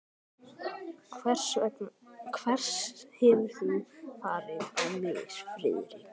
Hvers hefur þú farið á mis, Friðrik?